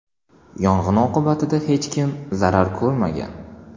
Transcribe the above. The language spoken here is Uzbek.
Yong‘in oqibatida hech kim zarar ko‘rmagan.